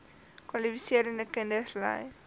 kwalifiserende kinders ly